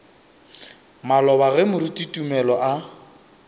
maloba ge moruti tumelo a